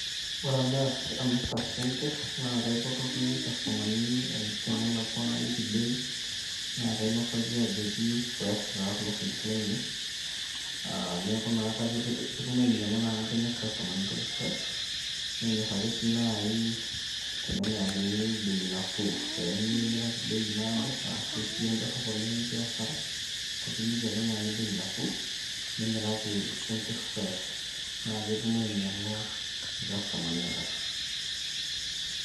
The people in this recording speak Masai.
ore amirta sinkir, naa kaipotoki irkastomani tenelaku. najoki ootu amu amirta isinkir. naa kainosaki ajoki fresh taa kulo sinkir laainei, ketum ainyiang'u amu kenyor irkastomani intokitin fresh nenyor ake sii naaji tenemirakini bei nafuu pee mimiraki bei naado, asu duo edoprop oleng nikiya asara ekiliki ake naaji bei nafuu .nimiraki isinkir naa peetum ainyiang'u irkastomani inakata.